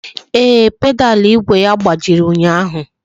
Ee, pedalu igwe ya gbajiri ụnyaahụ